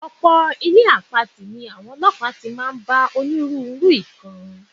Ò̩pò̩ ilé àpatì ní àwo̩n o̩ló̩pàá tí máa ń bá onírúurú nǹkan.